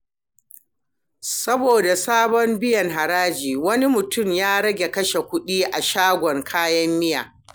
Saboda sabon biyan haraji, wani mutum ya rage kashe kuɗi a shagon kayan miya.